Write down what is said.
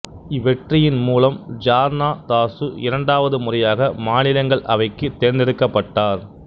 இவ்வெற்றியின் மூலம் ஜார்னா தாசு இரண்டாவது முறையாக மாநிலங்கள் அவைக்கு தேர்ந்தெடுக்கப்பட்டார்